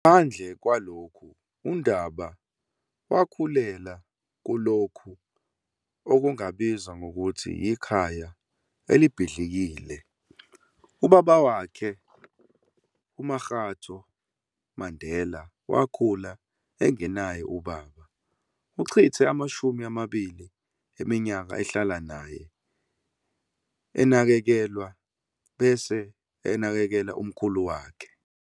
Ngaphandle kwalokhu, uNdaba wakhulela kulokho okungabizwa ngokuthi yikhaya elibhidlikile. Ubaba wakhe uMakgatho Mandela wakhula engenaye ubaba. Uchithe amashumi amabili eminyaka ehlala naye - enakekelwa, bese enakekela umkhulu wakhe.